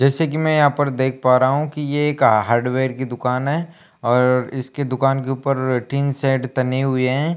जैसे कि मैं यहां पर देख पा रहा हूं कि ये का हार्डवेयर की दुकान है और इसके दुकान के ऊपर टीन सेड तने हुए हैं।